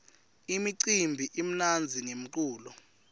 imicimbi imnandzi ngemculo